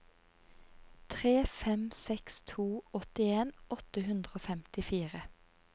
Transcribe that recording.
tre fem seks to åttien åtte hundre og femtifire